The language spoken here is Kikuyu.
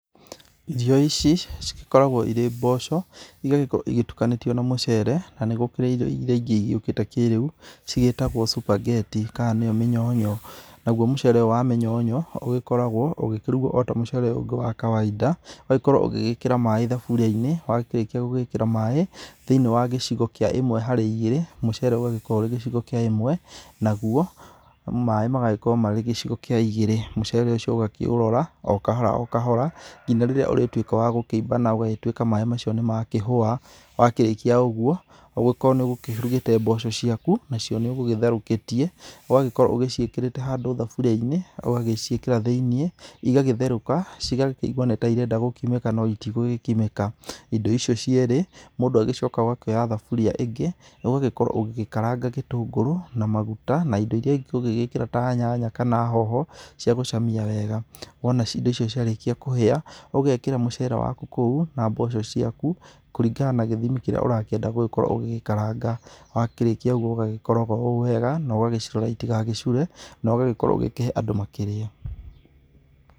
Irio ici cigĩkoragwo irĩ mboco, igagĩkorwo igĩtukanĩtio na mucere. Na nĩ gũkĩrĩ irio irĩa ingĩ igĩũkĩte kĩrĩũ, cigĩtagwo spaghetti, kana nĩyo mĩnyonyo. Naguo mũcere ũyũ wa mĩnyonyo, ũgĩkoragwo ũgĩkĩrugwo o ta mũcere ũngĩ wa kawaida. Ũgagĩkorwo ũgĩgĩkĩra maĩ thaburia-inĩ. Warĩkia gwĩkĩra maĩ thĩiniĩ wa gĩcigo kĩa ĩmwe harĩ igĩrĩ. Mũcere ũgagĩkorwo ũrĩ gĩcigo kĩa ĩmwe, naguo maĩ magagĩkorwo marĩ gĩcigo kĩa igĩrĩ. Mũcere ũcio ũgakĩũrora, o kahora o kahora, nginya rĩrĩa ũrĩtuĩka wa gũkĩimba na ũgagĩtuĩka maĩ macio nĩmakĩhũa. Wakĩrĩkia ũguo, ũgĩkorwo nĩ ũgũkĩrugĩte mboco ciaku, nacio nĩũgũgĩtherũkĩtie. Ũgagĩkorwo ũgĩciĩkĩrĩte handũ thaburia-inĩ. Ũgagĩciĩkĩra thĩiniĩ, igagĩtherũka, cigakĩigua ta irenda gũkimĩka no itigũgĩkimĩka. Indo icio cierĩ mũndũ agĩcokaga ũgakioya thaburia ĩngĩ, ũgagĩkorwo ũgĩkaranga gĩtũngũrũ, na maguta, na indo irĩa ingĩ ũngĩgĩkĩra ta nyanya kana hoho, cia gũcamia wega. Wona indo icio ciarĩkia kũhĩa, ũgekĩra mucere waku kũu, na mboco ciaku, kũringana na gĩthimi kĩrĩa ũrakĩenda gũgĩkorwo ũgĩgĩkaranga. Wakĩrĩkia ũgũo ũgagĩkoroga oũ wega, na ũgagĩcĩrora itigagĩcure, na ũgagĩkorwo ũgĩkĩhe andũ makĩrĩe.